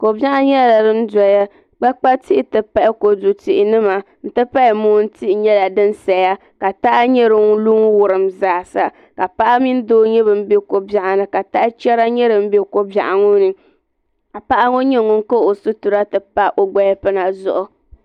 Kobiɛɣu nyɛla din doya kpakpa tihi n ti pahi mootihi nyɛla di saya ka taha nyɛ din lu n wurim zaasa ka paɣa mini doo nyɛ bin be kobiɛɣu ni ka taha chera nyɛ din be kobiɛɣu ŋɔ ni ka paɣa ŋɔ nyɛ ŋun kahi o sitira ti pa o gbalipina zuɣu.